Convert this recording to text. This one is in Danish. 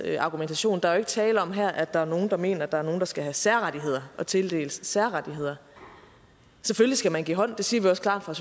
argumentation der er jo ikke tale om her at der er nogle der mener at der er nogle der skal have særrettigheder og tildeles særrettigheder selvfølgelig skal man give hånd det siger vi også klart fra